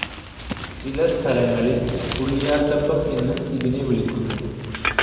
ചില സ്ഥലങ്ങളിൽ പുളിയാത്തപ്പം എന്നും ഇതിനെ വിളിക്കുന്നു.